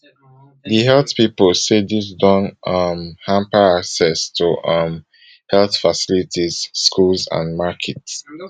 di health body say dis don um hamper access to um health facilities schools and markets